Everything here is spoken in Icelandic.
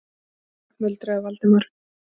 Skil þig- muldraði Valdimar.